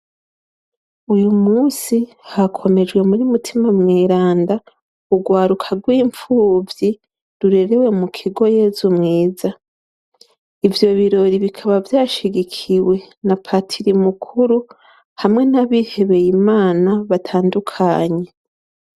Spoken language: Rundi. Uyu munsi hakomejwe muri mutima mweranda urwaruka rw'impfuvyi rurerewe mu kigo Yezu mwiza ivyo birori bikaba vyashigikiwe na patiri mukuru hamwe nabihebeye imana batandukanye.